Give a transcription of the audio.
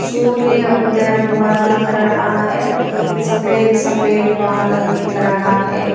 सूर्य उदय हुआ दिख रहा है सफेद सफेद बादल दिख रहा है।